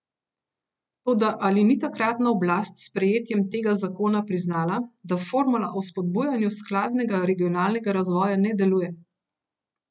Toda ali ni takratna oblast s sprejetjem tega zakona priznala, da formula o spodbujanju skladnega regionalnega razvoja ne deluje?